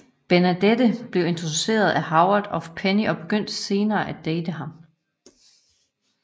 Bernadette bliver introduceret for Howard af Penny og begynder senere at date ham